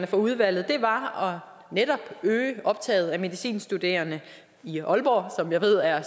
fra udvalget var netop at øge optaget af medicinstuderende i aalborg som jeg ved er